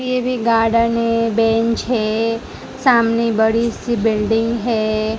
ये भी गार्डन है बेंच है सामने बड़ी सी बिल्डिंग है।